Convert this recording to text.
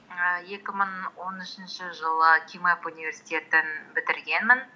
ііі екі мың он үшінші жылы кимэп университетін бітіргенмін